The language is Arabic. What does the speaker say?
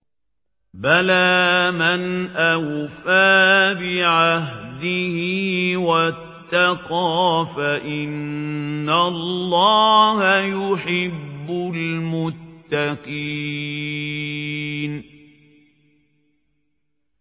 بَلَىٰ مَنْ أَوْفَىٰ بِعَهْدِهِ وَاتَّقَىٰ فَإِنَّ اللَّهَ يُحِبُّ الْمُتَّقِينَ